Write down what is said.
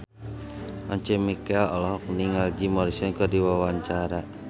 Once Mekel olohok ningali Jim Morrison keur diwawancara